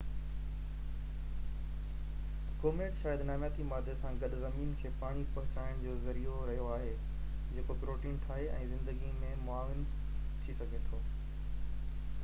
comet شايد نامياتي مادي سان گڏ زمين کي پاڻي پهچائڻ جو ذريعو رهيو آهي جيڪو پروٽين ٺاهي ۽ زندگي۾ معاون ٿي سگهي ٿو